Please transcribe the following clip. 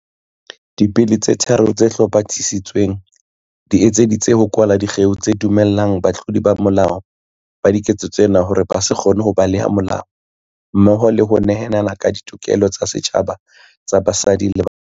Dibili tse tharo tse hlomathi-sitsweng di etseditswe ho kwala dikgeo tse dumellang batlodi ba molao ba diketso tsena hore ba se kgone ho baleha molao mmoho le ho nehelana ka ditokelo tsa setjhaba tsa basadi le bana.